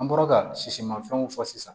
An bɔra ka sisimafɛnw fɔ sisan